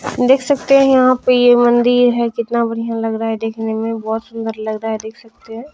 देख सकते है यहाँ पे ये मंदिर है कितना बढियां लग रहा है देखने में बोहत सुन्दर लग रहा देख सकते है।